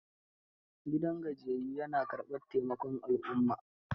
Gidan gajiyayyun ya na karɓar taimakon al'umma.